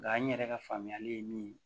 Nga n yɛrɛ ka faamuyali ye min ye